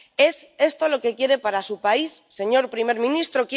¿Es esto lo que quiere para su país, señor primer ministro?